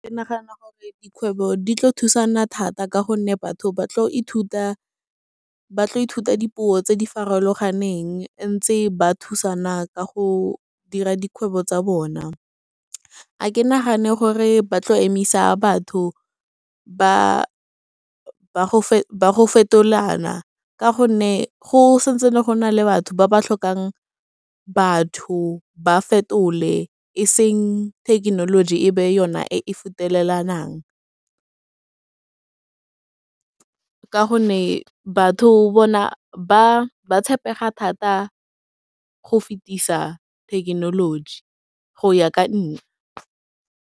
Ke nagana gore dikgwebo di tlo thusana thata ka gonne batho ba tlo ithuta dipuo tse di farologaneng, ntse ba thusana ka go dira dikgwebo tsa bona, ga ke nagane gore ba tlo emisa batho ba go fetolana, ka gonne go sa ntse gona le batho ba ba tlhokang batho ba fetole eseng thekenoloji e be yona e fetelelwang ka gonne batho bona ba ba tshepega thata go fetisa thekenoloji, go ya ka nna.